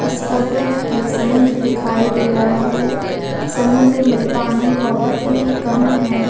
इस फोटो में एक समुन्द्र दिखाई दे रहा है समुन्द्र में पानी बहुत ही कम है।